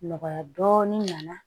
Nɔgɔya dɔɔnin nana